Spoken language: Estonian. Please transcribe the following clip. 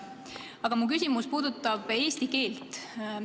Aga mu küsimus puudutab eesti keelt.